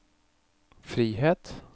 frihet